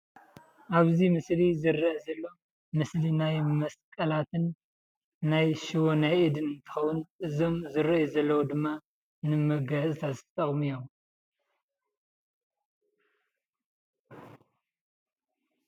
ኣብ እዚ ምስሊ ዝረአ ዘሎ ምስሊ ናይ መስቀላትን ናይ ሽቦ ኢድን እንትከውን እዞም ዝረአዩ ዘለዉ ድማ ንመጋየፅታት ዝጠቅሙ እዮም፡፡